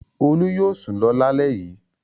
Olú yóò sùn lọ lálẹ́ yìí.